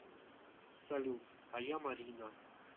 салют а я марина